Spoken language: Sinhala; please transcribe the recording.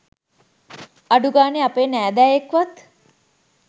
අඩුගානේ අපේ නෑදෑයෙක්වත්